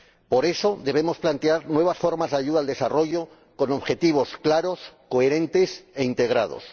Por eso, debemos plantear nuevas formas de ayuda al desarrollo con objetivos claros, coherentes e integrados.